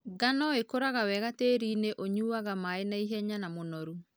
Ngano ĩkũraga wega tĩrinĩ ũyuaga maĩ naihenya na mũnoru.